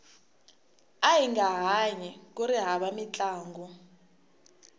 ahinga hanyi kuri hava mintlangu